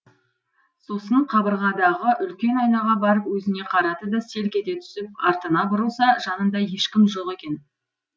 сосын қабырғадағы үлкен айнаға барып өзіне қарады да селк ете түсіп артына бұрылса жанында ешкім жоқ екен